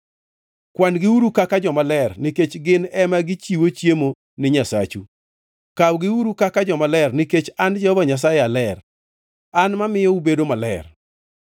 Kwan-giuru kaka jomaler, nikech gin ema gichiwo chiemo ni Nyasachu. Kawgiuru kaka jomaler nikech an Jehova Nyasaye aler; an mamiyo ubedo maler.